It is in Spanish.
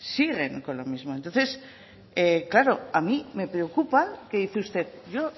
siguen con lo mismo entonces claro a mí me preocupa que dice usted yo